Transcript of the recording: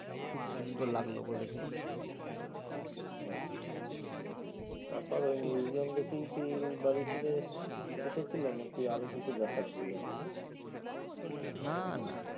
খুব সুন্দর লাগলো ওগুলো দেখে। আচ্ছা। তারপর ঐ মিউজিয়াম দেখেই কি বাড়ি ফিরে এসেছিলে নাকি আরও কিছু দেখার ছিল? না না